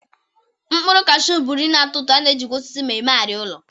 Mkpụrụ kashuu bụ nri na-atọ ụtọ, a na-ejikwa osisi m eme arịa ụlọ.